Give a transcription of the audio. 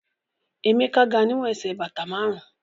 Emeka ga niwon ẹsẹ̀ bata márùn-ún